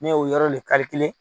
Ne ye o yɔrɔ len